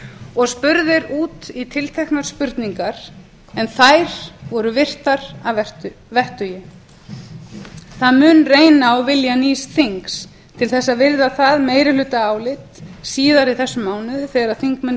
og spurðir út í tilteknar spurningar en þær voru virtar að vettugi það mun reyna á vilja nýs þings til þess að virða það meirihlutaálit síðar í þessum mánuði þegar þingmenn